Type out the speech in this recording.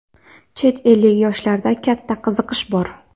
Chet ellik yoshlarda katta qiziqish bor.